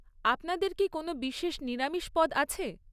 আপনাদের কি কোনও বিশেষ নিরামিষ পদ আছে?